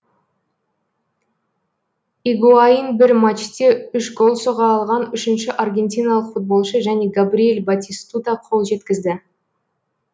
игуаин бір матчте үш гол соға алған үшінші аргентиналық футболшы және габриэль батистута қол жеткізді